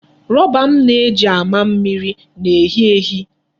Rọba m na-eji amị mmiri na-ehi ehi.